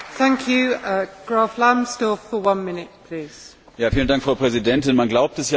Frau Präsidentin! Man glaubt es ja kaum, unsere Beziehungen zu Russland stehen auf der Grundlage eines Abkommens aus dem Jahr